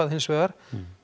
hins vegar